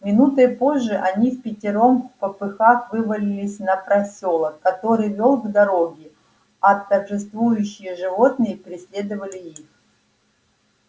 минутой позже они впятером впопыхах вывалились на просёлок который вёл к дороге а торжествующие животные преследовали их